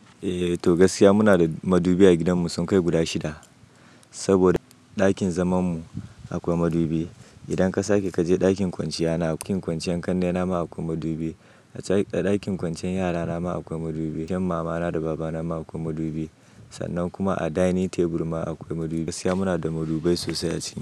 Eh to gaskiya muna da madubi a gidanmu sun kai guda shida. Saboda ɗakin zamanmu akwai madubi. Idan ka sake kaje ɗakin kwanciya na, cikin kwanciyar kannena ma akwai madubi. A cikin ɗakin kwanciyar yara nama akwai madubi. Cikin mamana da babana ma akwai madubi. Sannan kuma a dining table ma akwai madubi. Gaskiya muna da madubai sosai a ciki.